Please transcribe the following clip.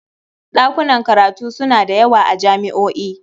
Ɗakunan karatu suna da yawa a jami'o'i.